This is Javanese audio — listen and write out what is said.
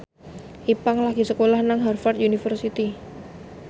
Ipank lagi sekolah nang Harvard university